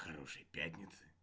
хорошей пятницы